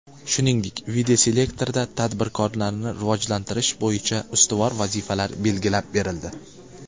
Shuningdek, videoselektorda tadbirkorlikni rivojlantirish bo‘yicha ustuvor vazifalar belgilab berildi.